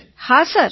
વિનોલે હા સર